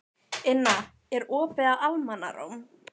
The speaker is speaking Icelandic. Inna, er opið í Almannaróm?